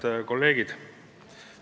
Head kolleegid!